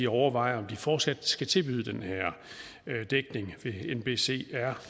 overvejer om de fortsat skal tilbyde den her dækning ved nbcr